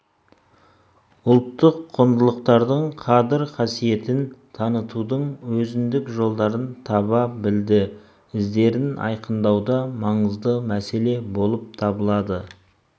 ұлттық құндылықтардың қадір-қасиетін танытудың өзіндік жолдарын таба білді іздерін айқындау да маңызды мәселе болып табылады